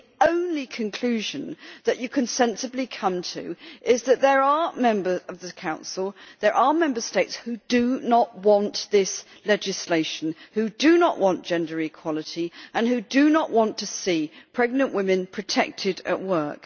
The only conclusion one can sensibly come to is that there are members of the Council Member States who do not want this legislation, who do not want gender equality and who do not want to see pregnant women protected at work.